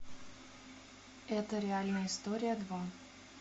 это реальная история два